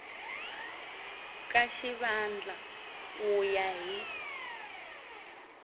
ka xivandla ku ya hi